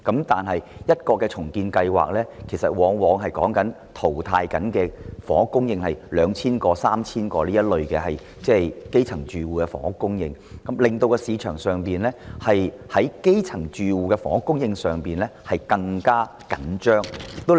但每項重建計劃所淘汰的房屋供應量往往是高達兩三千個可供基層住戶入住的單位，令市場上基層住戶的房屋供應更加緊張。